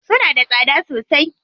Suna da tsada sosai?